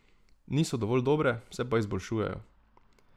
Niso dovolj dobre, se pa izboljšujejo.